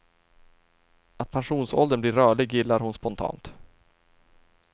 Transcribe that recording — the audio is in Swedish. Att pensionsåldern blir rörlig gillar hon spontant.